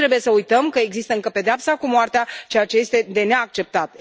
Nu trebuie să uităm că există încă pedeapsa cu moartea, ceea ce este de neacceptat.